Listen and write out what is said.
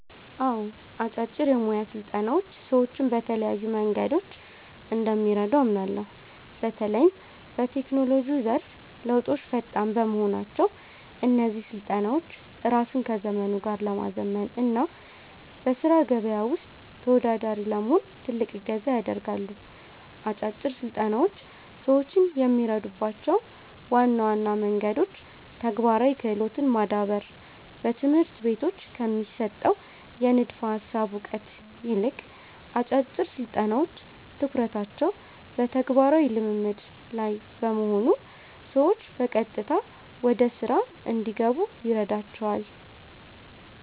አዎ፣ አጫጭር የሞያ ስልጠናዎች ሰዎችን በተለያዩ መንገዶች እንደሚረዱ አምናለሁ። በተለይም በቴክኖሎጂው ዘርፍ ለውጦች ፈጣን በመሆናቸው፣ እነዚህ ስልጠናዎች ራስን ከዘመኑ ጋር ለማዘመን እና በሥራ ገበያው ውስጥ ተወዳዳሪ ለመሆን ትልቅ እገዛ ያደርጋሉ። አጫጭር ስልጠናዎች ሰዎችን የሚረዱባቸው ዋና ዋና መንገዶች ተግባራዊ ክህሎትን ማዳበር፦ በትምህርት ቤቶች ከሚሰጠው የንድፈ ሃሳብ እውቀት ይልቅ፣ አጫጭር ስልጠናዎች ትኩረታቸው በተግባራዊ ልምድ (Practical Skill) ላይ በመሆኑ ሰዎች በቀጥታ ወደ ሥራ እንዲገቡ ይረዳቸዋል።